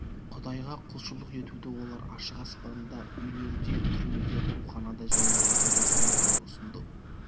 құдайға құлшылық етуді олар ашық аспанда үйлерде түрмеде ауруханада және жолдарда жүргізуді ұсынады